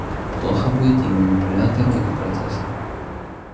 плохо будет и манипулятору и процессору